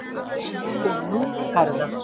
Og nú fer það